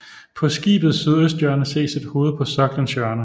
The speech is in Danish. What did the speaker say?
På skibets sydøsthjørne ses et hoved på soklens hjørne